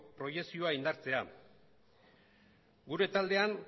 proiekzioa indartzea gure taldean